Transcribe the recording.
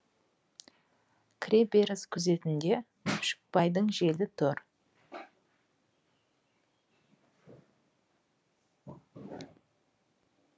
кіреберіс күзетінде күшікбайдың желі тұр